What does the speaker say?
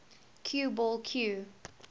cue ball cue